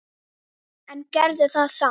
Ef þú kemst?